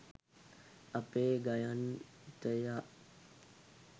අපේ ගයන්තයා